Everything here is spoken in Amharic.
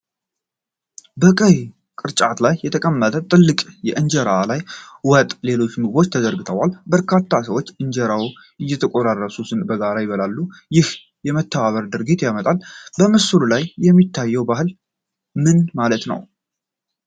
በቀይ ቅርጫት ላይ በተቀመጠ ትልቅ እንጀራ ላይ ወጥ እና ሌሎች ምግቦች ተዘርግተዋል። በርካታ ሰዎች ከእንጀራው እየቆረሱ በጋራ ይበላሉ፣ ይህም የመተባበር ድርጊትን ያመጣል። በምስሉ ላይ የሚታየው ባህል ምን ማለት ነው?